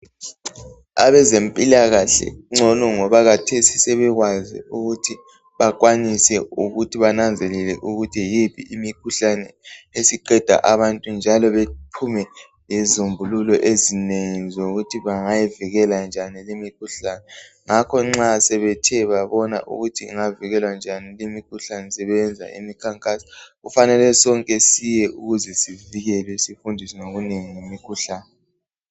Abezempilakahle kungoco ngoba kathesi sebekwazi ukuthi bakwanise ukuthi bananzelele ukuthi yiphi imkhuhlane esiqeda abantu njalo baphume lezisombulule ezinengi zokuthi bangayivikela njani limikhuhlane. Ngakho nxa sebethe babona ukuthi ingavikela njani limkhuhlane sebeyenza imikhankaso. Kufanele sonke siye ukuze sivikelwe sifundiswe ngokunengi ngomkhuhlane.